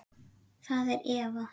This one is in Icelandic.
Það er Eva.